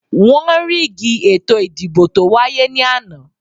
Wọ́n ríìgì ètò ìdìbò tó wáyé ní àná